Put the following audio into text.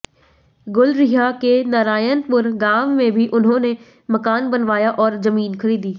गुलरिहा के नारायनपुर गांव में भी उन्होंने मकान बनवाया और जमीन खरीदी